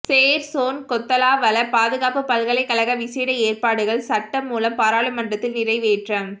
சேர் John Kotelawala பாதுகாப்புப் பல்கலைக்கழக விசேட ஏற்பாடுகள் சட்டமூலம் பாராளுமன்றத்தில் நிறைவேற்றம்